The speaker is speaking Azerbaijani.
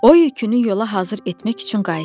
O yükünü yola hazır etmək üçün qayıtdı.